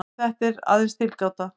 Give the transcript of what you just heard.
En þetta er aðeins tilgáta.